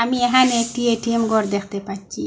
ইহানে একটি এ_টি_এম ঘর দেখতে পাচ্চি।